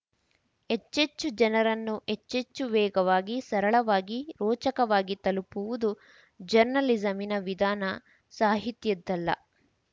ಹೆಚ್ಚೆಚ್ಚು ಜನರನ್ನು ಹೆಚ್ಚೆಚ್ಚು ವೇಗವಾಗಿ ಸರಳವಾಗಿ ರೋಚಕವಾಗಿ ತಲುಪುವುದು ಜರ್ನಲಿಸಮಿನ ವಿಧಾನ ಸಾಹಿತ್ಯದ್ದಲ್ಲ